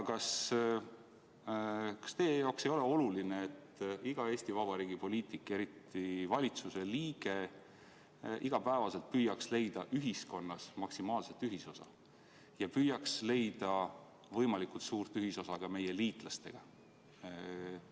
Kas teie jaoks ei ole oluline, et iga Eesti Vabariigi poliitik, eriti valitsuse liige, püüaks iga päev leida ühiskonnas maksimaalselt ühisosa ja püüaks leida võimalikult suurt ühisosa ka meie liitlastega?